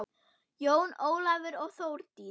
Jón Ólafur og Þórdís.